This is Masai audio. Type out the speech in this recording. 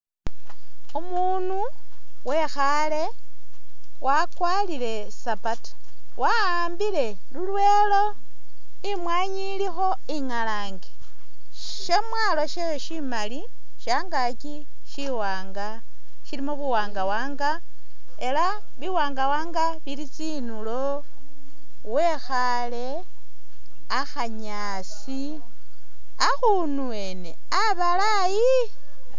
Umuunu wekhaale wakwarire sapatu, wa'ambile lulwelo imwaanyi ilikho ingalaange. Syamwaalo stewed syimali shangaaki syiwaanga silimo buwanga-wanga ela biwanga wanga bili tsinulo wekhaale akhanyaasi, akhunu wene abalayi.